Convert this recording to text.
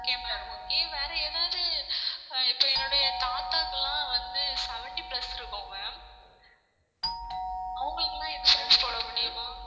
okay ma'am okay வேற ஏதாவது ஆஹ் இப்ப தாத்தாக்கெல்லாம் வந்து seventy plus இருக்கும் ma'am அவங்களுக்கெல்லாம் insurance போட முடியுமா